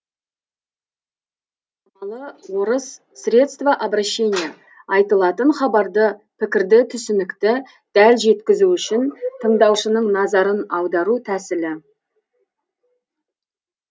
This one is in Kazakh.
үндеу амалы айтылатын хабарды пікірді түсінікті дәл жеткізу үшін тындаушынын назарын аудару тәсілі